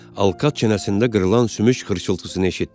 Alkat çənəsində qırılan sümük xırıltısını eşitdi.